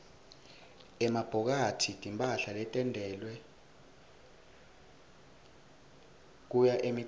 emabhokathi timphahla letentiwele kuya emicimbini